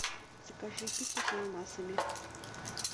закажи пиццу с ананасами